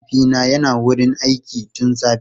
Mahaifina yana wurin aiki tun safe.